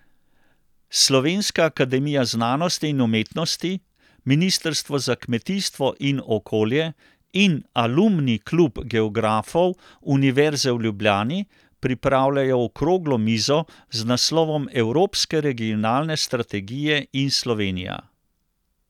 Slovenska akademija znanosti in umetnosti, ministrstvo za kmetijstvo in okolje in Alumni klub geografov Univerze v Ljubljani pripravljajo okroglo mizo z naslovom Evropske regionalne strategije in Slovenija.